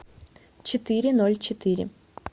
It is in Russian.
четыре ноль четыре